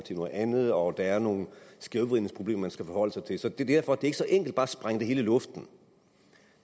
til noget andet og der er nogle skævvridningsproblemer man skal forholde sig til så derfor er det ikke så enkelt bare at sprænge det hele luften